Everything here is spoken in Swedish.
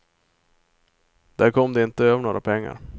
Där kom de inte över några pengar.